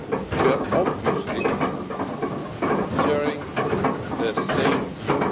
We obviously share the same view.